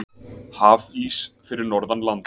Hafís fyrir norðan land